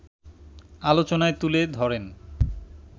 আলোচনায় তুলে ধরেন